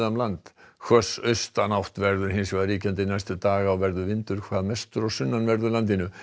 land hvöss austanátt verður hins vegar ríkjandi næstu daga og verður vindur hvað mestur á sunnanverðu landinu